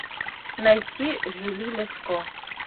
найти жюли леско